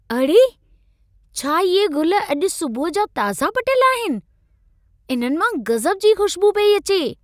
अड़े! छा इहे गुल अॼु सुबुह जा ताज़ा पटियल आहिनि? इन्हनि मां गज़ब जी खुश्बु पेई अचे।